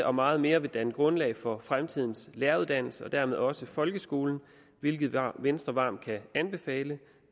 og meget mere vil danne grundlag for fremtidens læreruddannelse og dermed også folkeskolen hvilket venstre varmt kan anbefale